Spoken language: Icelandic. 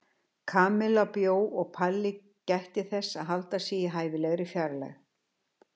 Kamilla bjó og Palli gætti þess að halda sig í hæfilegri fjarlægð.